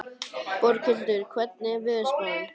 Borghildur, hvernig er veðurspáin?